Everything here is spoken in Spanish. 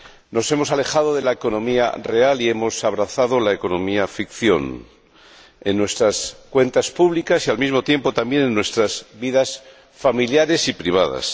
Nos hemos alejado de la economía real y hemos abrazado la economía ficción, en nuestras cuentas públicas y, al mismo tiempo, en nuestras vidas familiares y privadas.